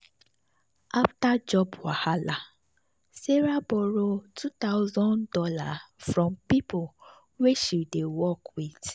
after job wahala sarah borrow two thousand dollars from people wey she dey work with.